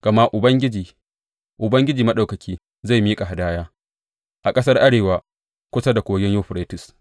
Gama Ubangiji, Ubangiji Maɗaukaki, zai miƙa hadaya a ƙasar arewa kusa da Kogin Yuferites.